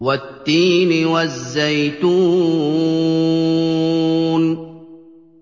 وَالتِّينِ وَالزَّيْتُونِ